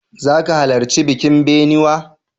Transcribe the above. Za ka halarci bikin binnewa?